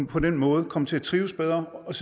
på den måde komme til at trives bedre og